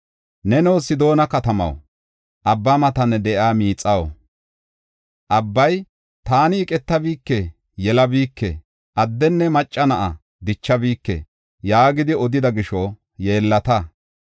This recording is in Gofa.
Neno Sidoona katamaw, abba matan de7iya miixaw, abbay, “Taani iqetabike; yelabike; addenne macca na7a dichabike” yaagidi odida gisho yeellata.